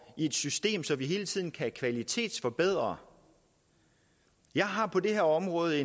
i et system så vi hele tiden kan kvalitetsforbedre jeg har på det her område